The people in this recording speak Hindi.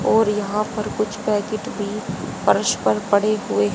और यहां पर कुछ पैकेट भी फर्श पर पड़े हुए--